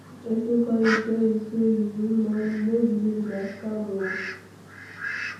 If pesin call you tell you say you win money no believe nah scam oo